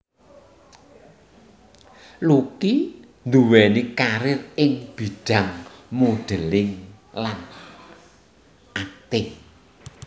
Lucky nduwèni karir ing bidhang modeling lan akting